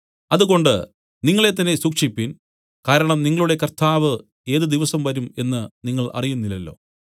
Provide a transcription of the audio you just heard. അതുകൊണ്ട് നിങ്ങളെ തന്നെ സൂക്ഷിപ്പിൻ കാരണം നിങ്ങളുടെ കർത്താവ് ഏത് ദിവസം വരും എന്നു നിങ്ങൾ അറിയുന്നില്ലല്ലോ